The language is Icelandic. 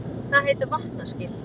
Það heita vatnaskil.